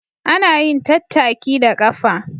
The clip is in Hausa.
Ana yin tattaki da ƙafa